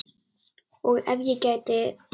Og ef ég gæti.?